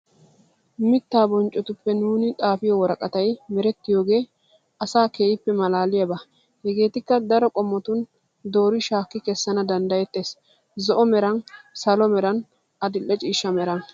Mitta bonccotuppe nuuni xaafiyo worqqatay merettiyooge asa keehippe maalaliyabaa. hegetikka daro qommotuni doori shaaki kessana danddayettes zo'o meran, salo meran, adile ciishsha malan.